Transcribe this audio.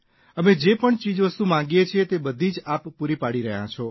અમે જે પણ ચીજવસ્તુ માંગીએ છીએ તે બધી જ આપ પૂરી પાડી રહ્યા છો